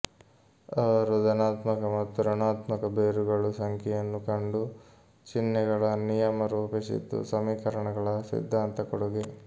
ಅವರು ಧನಾತ್ಮಕ ಮತ್ತು ಋಣಾತ್ಮಕ ಬೇರುಗಳು ಸಂಖ್ಯೆಯನ್ನು ಕಂಡು ಚಿಹ್ನೆಗಳ ನಿಯಮ ರೂಪಿಸಿದ್ದು ಸಮೀಕರಣಗಳ ಸಿದ್ಧಾಂತ ಕೊಡುಗೆ